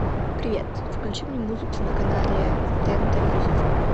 привет включи мне музыку на канале тнт мьюзик